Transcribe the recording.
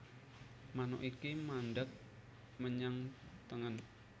Manuk iki mandheng menyang tengen